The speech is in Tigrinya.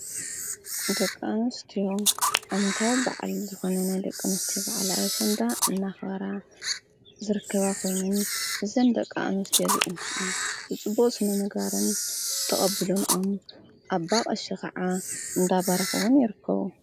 ደቂኣንስትዮ ዓመታዊ በዓል ብዝኾነ ናይ ደቂኣንስትዮ በዓል ኣሸንዳ እናኽበራ ዝርከባ ኾይነን እዘን ደቃኣንስትዮ ከዓ ብጽቡቅ ስነምግባርን ተቐቢለንኦ ኣባቀሺ ኸዓ እንዳባረኽዉን ይርከቡ